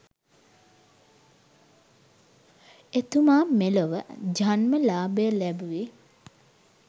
එතුමා මෙලොව ජන්මලාභය ලැබුවේ